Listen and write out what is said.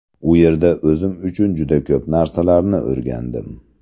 U yerda o‘zim uchun juda ko‘p narsalarni o‘rgandim.